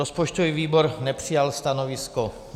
Rozpočtový výbor nepřijal stanovisko.